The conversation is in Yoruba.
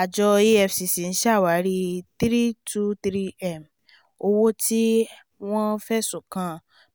àjọ efcc ṣàwárí three two three m owó tí wọ́n fẹ̀sùn kàn